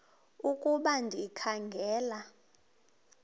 ukuba ndikha ngela